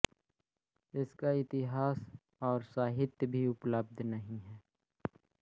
इसका इतिहास और साहित्य भी उपलब्ध नहीं है